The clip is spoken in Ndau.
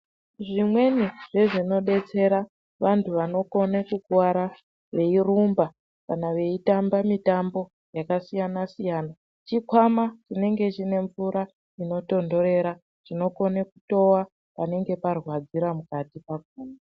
Zvimweni zvezvinodetsera vantu vanokone kukuwara veirumba kana veitamba mitambo yakasiyana siyana chikwama chinenge chine mvura inotondorera chinokona kutova panenge parwadzira mukati pakona.